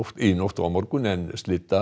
í nótt og á morgun en